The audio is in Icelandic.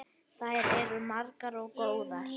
Þær eru margar og góðar.